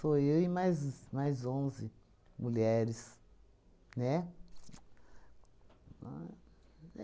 eu e mais mais onze mulheres, né?